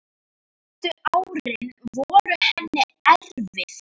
Síðustu árin voru henni erfið.